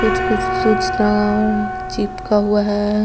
कुछ-कुछ सुचना और चिपका हुआ है।